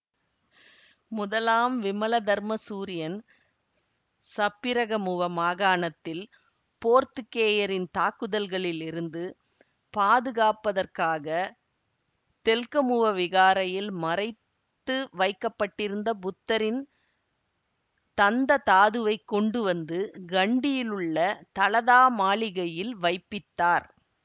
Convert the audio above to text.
முதலாம் விமலதர்மசூரியன் சப்பிரகமுவ மாகாணத்தில் போர்த்துக்கேயரின் தாக்குதல்களிலிருந்து பாதுகாப்பதற்காக தெல்கமுவ விகாரையில் மறைத்து வைக்க பட்டிருந்த புத்தரின் தந்ததாதுவைக் கொண்டு வந்து கண்டியிலுள்ள தலதா மாளிகையில் வைப்பித்தார்